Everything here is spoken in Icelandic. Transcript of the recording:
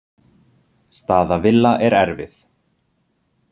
Staða Villa er erfið.